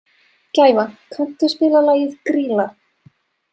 Gæfa, kanntu að spila lagið „Grýla“?